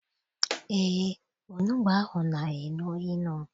Eé, onugbu ahụ na- enu inu.